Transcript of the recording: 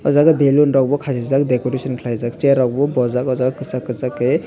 oh jaga belloon rok bo khasijak decoration khlaijak chair rok bo bojak oh jaga kwchak kwchak ke.